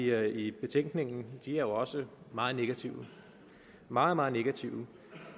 er i betænkningen er også meget negative meget meget negative